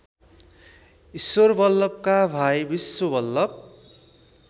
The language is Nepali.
ईश्वरबल्लभका भाइ विश्वबल्लभ